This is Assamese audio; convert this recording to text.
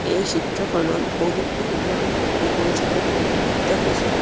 এই চিত্ৰখনত বহুতো ধৰণৰ টেবুল চকী পৰিলক্ষিত হৈছে।